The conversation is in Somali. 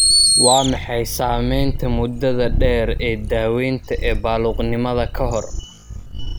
Waa maxay saamaynta muddada-dheer ee daawaynta ee baaluqnimada ka hor?